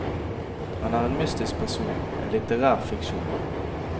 Han er en mytisk person, en litterær fiksjon.